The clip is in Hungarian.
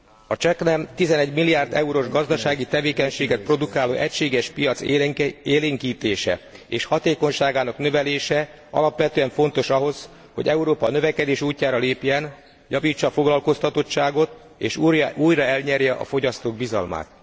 A csaknem 11 milliárd eurós gazdasági tevékenységet produkáló egységes piac élénkítése és hatékonyságának növelése alapvetően fontos ahhoz, hogy Európa a növekedés útjára lépjen, javítsa a foglalkoztatottságot, és újra elnyerje a fogyasztók bizalmát.